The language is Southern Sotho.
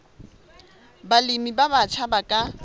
balemi ba batjha ba ka